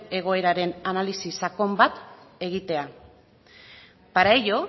egoeraren analisi sakon bat egitea para ello